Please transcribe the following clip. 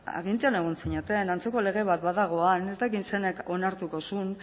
agintean egon zineten antzeko lege bat badago han ez dakit zeinek onartuko zuen